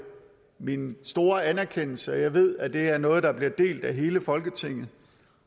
min store anerkendelse og jeg ved at det er noget der bliver delt af hele folketinget